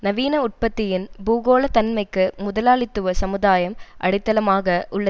நவீன உற்பத்தியின் பூகோள தன்மைக்கு முதலாளித்துவ சமுதாயம் அடித்தளமாக உள்ள